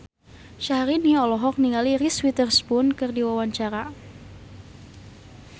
Syahrini olohok ningali Reese Witherspoon keur diwawancara